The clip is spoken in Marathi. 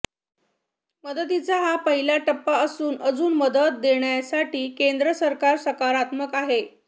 मदतीचा हा पहिला टप्पा असून अजून मदत देण्यासाठी केंद्र सरकार सकारात्मक आहे